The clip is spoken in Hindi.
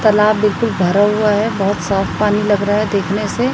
तलाब बिल्कुल भरा हुआ है बहोत साफ पानी लग रहा है देखने से।